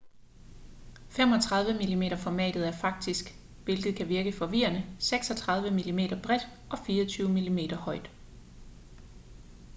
35 mm-formatet er faktisk hvilket kan virke forvirrende 36 mm bredt og 24 mm højt